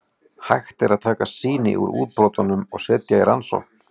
Hægt er að taka sýni úr útbrotunum og setja í rannsókn.